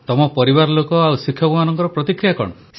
ତମ ପରିବାର ଲୋକ ଆଉ ଶିକ୍ଷକମାନଙ୍କର ପ୍ରତିକ୍ରିୟା କଣ